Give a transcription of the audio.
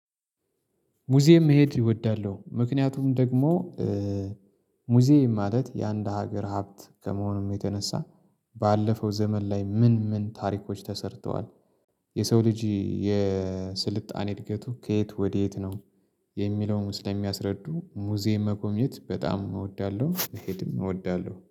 ሙዚየም መሄድ እወዳለሁ። ምክንያቱም ደግሞ ሙዚየም ማለት የአንድ ሀገር ሀብት ከመሆኑም የተነሳ ባለፈው ዘመን ላይ ምን ምን ታሪኮች ተሰርተዋል። የሰው ልጅ የስልጣኔ እድገቱ ከየት ወዴት ነው? የሚለውን ስለሚያስረዱ ሙዚየም መጎብኘት በጣም እወዳለሁ። መሄድም እወዳለሁ